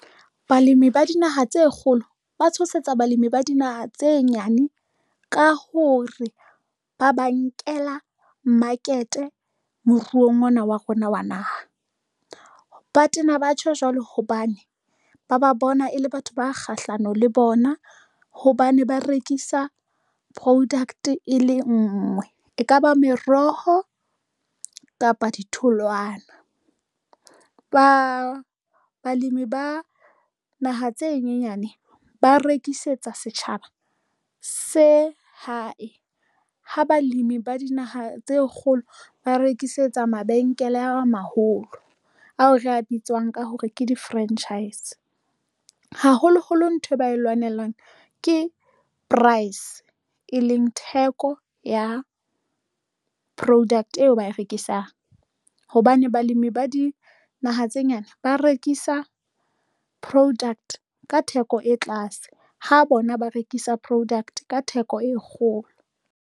Balemi ba dinaha tse kgolo ba tshosetsa balemi ba dinaha tse nyane ka hore ba ba nkela market moruong ona wa rona wa naha ba tena batjho jwalo hobane ba ba bona e le batho ba kgahlano le bona hobane ba rekisa product e le ngwe, e kaba meroho kapa ditholwana ba balemi ba naha tse nyenyane ba rekisetsa setjhaba se hae ha balemi ba dinaha tse kgolo, ba rekisetsa mabenkele a maholo ao re a bitswang ka hore ke di-franchise haholoholo nthwe ba e lwanelang ke price, e leng theko ya product eo ba e rekisang hobane balemi ba dinaha tse nyane ba rekisa poduct ka theko e tlase ha bona ba rekisa product ka theko e kgolo.